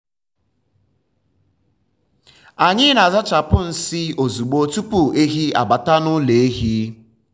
anyị na-azachapụ nsị ozugbo tupu ehi abata n’ụlọ ehi.